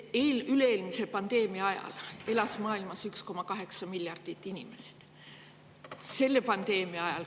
Üle-eelmise pandeemia ajal elas maailmas 1,8 miljardit inimest.